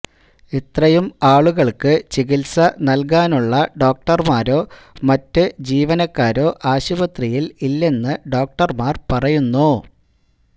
ഇത്രയും ആളുകള്ക്ക് ചികിത്സ നല്കാനുള്ള ഡോക്ടര്മാരോ മറ്റ് ജീവനക്കാരോ ആശുപത്രിയില് ഇല്ലെന്ന് ഡോക്ടര്മാര് പറയുന്നു